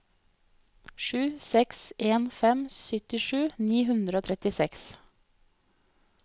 sju seks en fem syttisju ni hundre og trettiseks